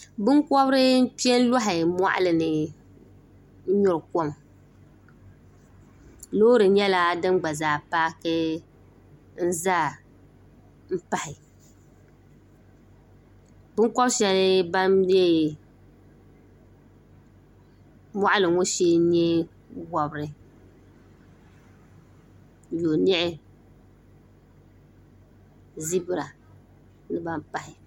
binkobiri n kpɛ n loɣa moɣali ni n nyuri kom loori nyɛla din gba zaa paaki n ʒɛ n pahi binkobi shab ban bɛ moɣali ŋo shee n nyɛ wobiri yoniɣi zibira ni ban pahi